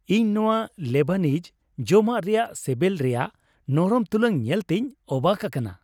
ᱤᱧ ᱱᱚᱶᱟ ᱞᱮᱵᱟᱱᱤᱡ ᱡᱚᱢᱟᱜ ᱨᱮᱭᱟᱜ ᱥᱮᱵᱮᱞ ᱨᱮᱭᱟᱜ ᱱᱚᱨᱚᱢ ᱛᱩᱞᱟᱹᱱ ᱧᱮᱞᱛᱤᱧ ᱚᱵᱟᱠ ᱟᱠᱟᱱᱟ ᱾